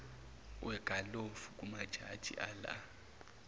wegalofu kumajaji ala